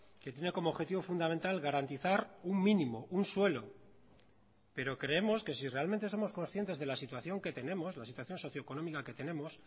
que tiene como objetivo fundamental garantizar un mínimo un suelo pero creemos que si realmente somos conscientes de la situación que tenemos la situación socio económica que tenemos